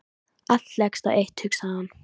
Allt leggst á eitt hugsaði hann.